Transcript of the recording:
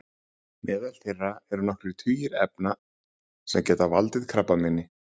meðal þeirra eru nokkrir tugir efna sem geta valdið krabbameini